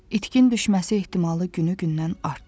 İtkin düşməsi ehtimalı günü-gündən artdı.